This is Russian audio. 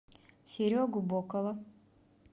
серегу бокова